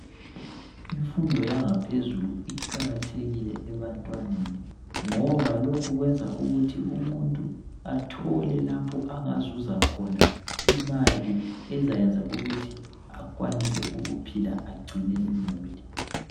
Imfundo yangaphezulu iqakathekile ebantwaneni ngoba lokhu kwenza ukuthi umuntu athole lapho angazuza khona imali ukuthi akwanise ukuphila agcine imuli